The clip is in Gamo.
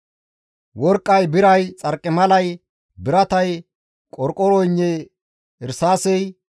worqqay, biray, xarqimalay, biratay, qorqoroynne irsaasey,